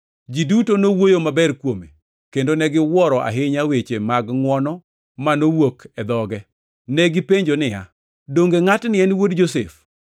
Ji duto nowuoyo maber kuome kendo negiwuoro ahinya weche mag ngʼwono manowuok e dhoge. Negipenjo niya, “Donge ngʼatni en wuod Josef?”